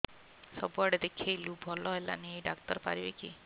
ସବୁଆଡେ ଦେଖେଇଲୁ ଭଲ ହେଲାନି ଏଇ ଡ଼ାକ୍ତର ପାରିବେ କି